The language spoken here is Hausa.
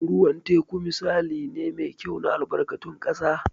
Ruwan teku misali ne mai kyau na albarkatun ƙasa.